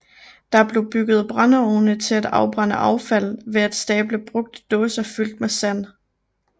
Der blev bygget brændeovne til at afbrænde affald ved at stable brugte dåser fyldt med sand